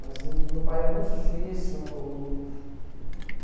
Mas meu pai é muito difícil...